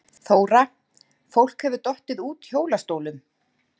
Þóra: Fólk hefur dottið út hjólastólum?